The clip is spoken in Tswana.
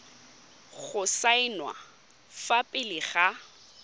go saenwa fa pele ga